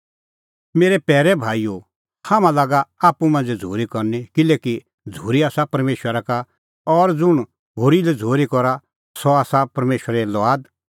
मेरै पैरै भाईओ हाम्हां लागा आप्पू मांझ़ै झ़ूरी करनी किल्हैकि झ़ूरी आसा परमेशरा का और ज़ुंण होरी लै झ़ूरी करा सह आसा परमेशरे लुआद और सह बछ़ैणा परमेशरा